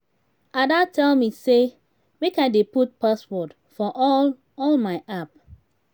ada tell me say make i dey put password for all all my app